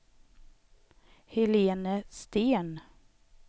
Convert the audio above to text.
Helene Sten